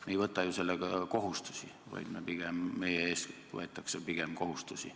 Me ei võta ju sellega kohustusi, vaid pigem meie ees võetakse kohustusi.